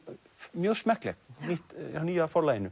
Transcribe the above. mjög smekkleg hjá nýja Forlaginu